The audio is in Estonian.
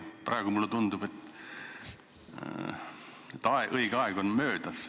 Praegu, mulle tundub, on õige aeg möödas.